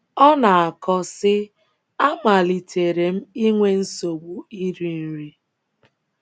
Ọ na - akọ, sị: “ Amalitere m inwe nsogbu iri nri.